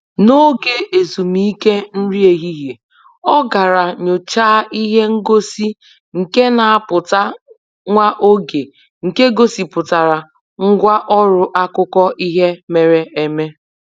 N'oge ezumike nri ehihie, ọ gara nyọchaa ihe ngosi nke na-apụta nwa oge nke gosipụtara ngwa ọrụ akụkọ ihe mere eme.